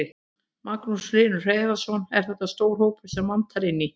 Magnús Hlynur Hreiðarsson: Er þetta stór hópur sem vantar inn í?